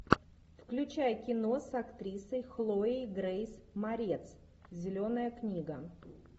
включай кино с актрисой хлоей грейс морец зеленая книга